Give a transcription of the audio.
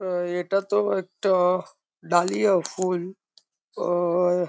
ও একটা তো একটা-আ ডালিয়া ফুল। ওয়ে --